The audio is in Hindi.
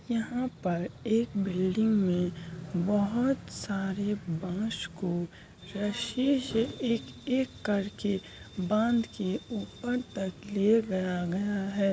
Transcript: यहाँ पर एक बिल्डिंग में बोहत सारे बांस को रस्से से एक-एक करके बांध के ऊपर तक ले गया-गया है।